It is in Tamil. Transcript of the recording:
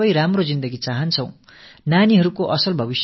நாமனைவருமே உன்னதமான வாழ்க்கை வாழ விரும்புகிறோம்